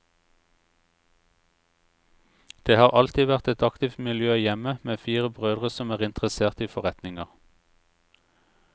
Det har alltid vært et aktivt miljø hjemme, med fire brødre som er interessert i forretninger.